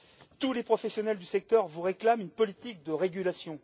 Tous les professionnels du secteur vous réclament une politique de régulation.